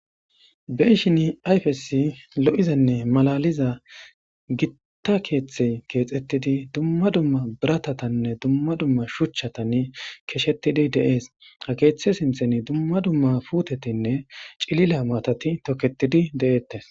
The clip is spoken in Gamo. Be'ashin ayfes lo'izanne malaliza Gita kethey kexetid dumma dumma biratatanne dumma dumma shuchan keshetid de'es, ha kethe sinthani dumma dumma puutetinne cilila maata toketid de'etes.